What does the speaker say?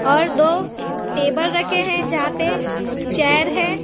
और दो टेबल रखे हैं जहां पे चेयर है।